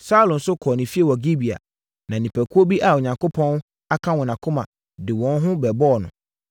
Saulo nso kɔɔ ne fie wɔ Gibea na nnipakuo bi a Onyankopɔn aka wɔn akoma de wɔn ho bɛbɔɔ no.